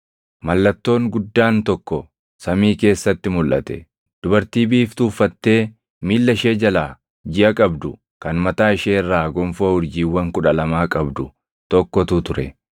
Mallattoon guddaan tokko samii keessatti mulʼate: dubartii biiftuu uffattee miilla ishee jalaa jiʼa qabdu kan mataa ishee irraa gonfoo urjiiwwan kudha lamaa qabdu tokkotu ture.